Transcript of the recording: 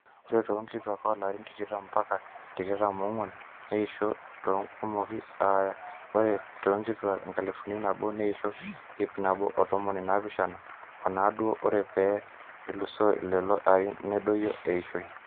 ore toonkituaak oolarin tikitam mbaka tikitam oongw'uan neeisho tenkumoi aa ore toonkituaak enkalifu nabo neisho ipnabo ontomoni naapishana o naaudo ore pee elusoo lelo arin nedoyio eishoi